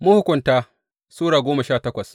Mahukunta Sura goma sha takwas